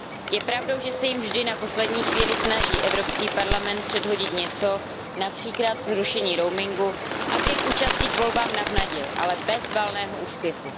Je pravdou, že se jim vždy na poslední chvíli snaží Evropský parlament předhodit něco, například zrušení roamingu, aby je k účasti ve volbách navnadil, ale bez valného úspěchu.